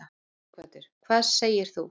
Sighvatur: Hvað segir þú?